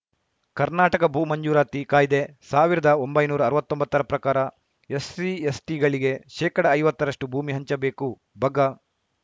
ಕರ್ನಾಟಕ ಭೂ ಮಂಜೂರಾತಿ ಕಾಯ್ದೆ ಸಾವಿರದ ಒಂಬೈನೂರ ಅವತ್ತೊಂಬತ್ತರ ಪ್ರಕಾರ ಎಸ್ಸಿ ಎಸ್ಟಿಗಳಿಗೆ ಶೇಕಡ ಐವತ್ತರಷ್ಟುಭೂಮಿ ಹಂಚಬೇಕು ಬಗ